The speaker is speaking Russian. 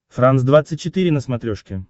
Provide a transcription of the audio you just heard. франс двадцать четыре на смотрешке